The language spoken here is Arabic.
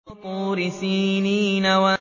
وَطُورِ سِينِينَ